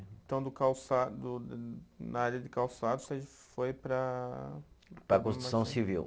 Então, do calça, do do, na área de calçado, você foi para. Para construção civil.